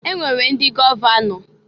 E nwere ndị gọvanọ.